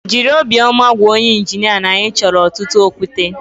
Jịrị obiọma gwa onye injinia na anyị chọrọ ọtụtụ okwute